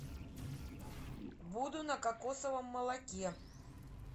буду на кокосовом молоке